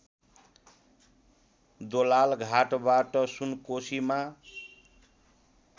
दोलालघाटबाट सुनकोसीमा